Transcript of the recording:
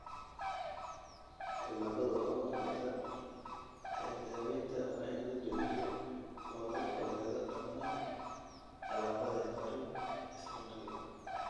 Tallaabada ugu horreysa ee daawaynta waa in la joojiyo oo laga fogaado dhammaan alaabada heparin isla markiiba.